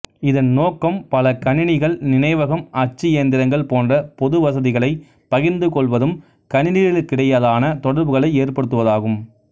இதன் நோக்கம் பல கணினிகள் நினைவகம் அச்சியந்திரங்கள் போன்ற பொது வசதிகளை பகிர்ந்து கொள்வதும் கணினிகளுக்கிடையான தொடர்புகளை ஏற்படுத்துவதாகும்